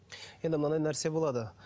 енді мынандай нәрсе болады